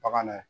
Bagan